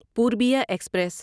Purbiya express